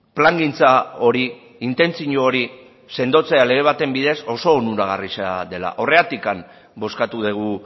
plangintza hori intentzio hori sendotzea lege baten bidez oso onuragarria dela horregatik bozkatu dugu